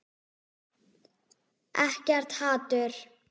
Ekkert hatur.